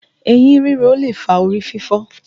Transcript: Eyín ríro lè fa orí fífọ́